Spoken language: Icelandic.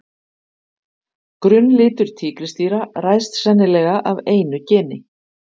Grunnlitur tígrisdýra ræðst sennilega af einu geni.